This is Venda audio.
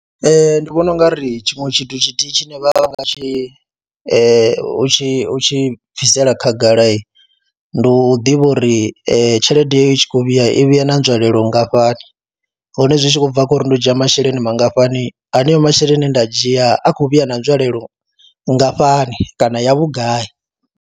Ee, ndi vhona u nga ri tshiṅwe tshithu tshithihi tshine vha nga tshi u tshi u tshi bvisela khagalahi ndi u ḓivha uri tshelede yeyo i tshi khou vhuya i vhuya na nzwalelo nngafhani, hone zwi tshi khou bva khou ri ndo dzhia masheleni mangafhani haneyo masheleni e nda a dzhia a khou vhuya na nzwalelo nngafhani kana ya vhugai.